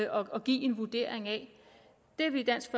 og give en vurdering af det vi i dansk